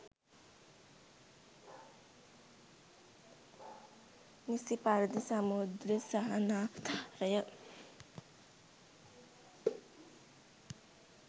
නිසි පරිදි සමෘද්ධි සහනාධාරය